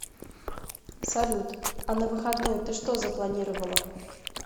салют а на выходные ты что запланировала